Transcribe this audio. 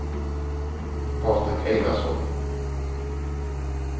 Patrik Einarsson